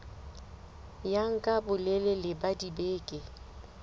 ya nka bolelele ba dibeke